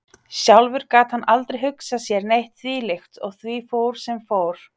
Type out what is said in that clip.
Sjálfur gat hann aldrei hugsað sér neitt þvílíkt og því fór sem fór.